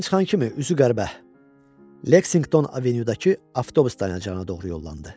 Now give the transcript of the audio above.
Binadan çıxan kimi üzü qəribə Lexington Avenuedakı avtobus dayanacağına doğru yollandı.